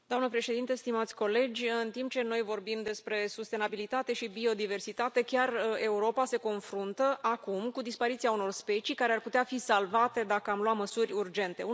Doamnă președintă, stimați colegi, în timp ce noi vorbim despre sustenabilitate și biodiversitate, Europa însăși se confruntă în prezent cu dispariția unor specii care ar putea fi salvate dacă am lua măsuri urgente.